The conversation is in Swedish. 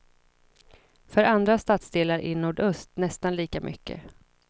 För andra stadsdelar i nordöst nästan lika mycket.